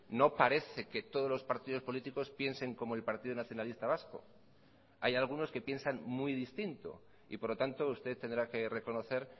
no parece que todos los partidos políticos piensen como el partido nacionalista vasco hay algunos que piensan muy distinto y por lo tanto usted tendrá que reconocer